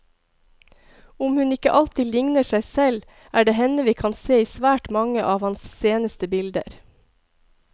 Om hun ikke alltid ligner seg selv, er det henne vi kan se i svært mange av hans seneste bilder.